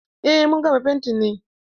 Eh, mun gama fentin ne.